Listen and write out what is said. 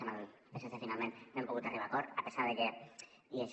amb el psc finalment no hem pogut arribar a acord a pesar de que i això